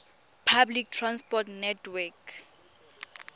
public transport network